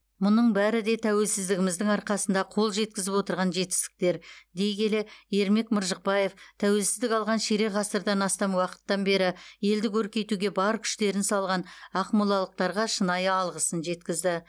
мұның бәрі де тәуелсіздігіміздің арқасында қол жеткізіп отырған жетістіктер дей келе ермек маржықпаев тәуелсіздік алған ширек ғасырдан астам уақыттан бері елді көркейтуге бар күштерін салған ақмолалықтарға шынайы алғыс жеткізді